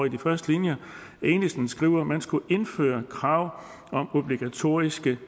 i de første linjer skriver at man skulle indføre krav om obligatoriske